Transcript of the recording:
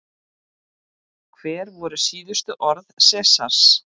Hver voru síðustu orð Sesars?